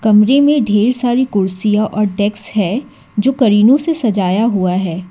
कमरे में ढेर सारी कुर्सियां और डेस्क है जो करीनो से सजाया हुआ है।